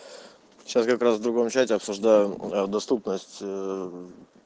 сейчас как раз в другом чате обсуждаю доступность